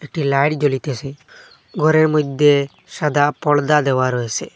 একটি লাইট জ্বলিতেসে ঘরের মইদ্যে সাদা পর্দা দেওয়া রয়েসে।